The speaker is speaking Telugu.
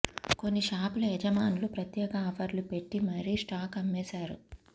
కొన్ని షాపుల యజమానులు ప్రత్యేక ఆఫర్ లు పెట్టిమరీ స్టాక్ అమ్మేశారు